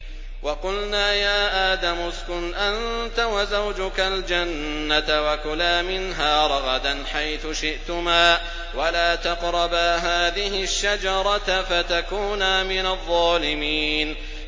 وَقُلْنَا يَا آدَمُ اسْكُنْ أَنتَ وَزَوْجُكَ الْجَنَّةَ وَكُلَا مِنْهَا رَغَدًا حَيْثُ شِئْتُمَا وَلَا تَقْرَبَا هَٰذِهِ الشَّجَرَةَ فَتَكُونَا مِنَ الظَّالِمِينَ